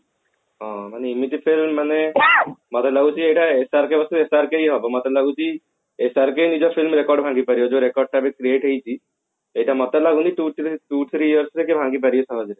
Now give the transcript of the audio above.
ହଁ ଏମିତି film ମାନେ ମତେ ଲାଗୁଛି ଏଟା SRK କୁ SRK କୁ ହବ ମତେ ଲାଗୁଛି SRK ନିଜ film record ଭାଙ୍ଗି ପାରିବ ଯୋଉ record ଟା ଏବେ create ହେଇଛି ସେଟା ମତେ ଲାଗୁନି two three years ରେ କିଏ ଭାଙ୍ଗି ପାରିବେ ସହଜରେ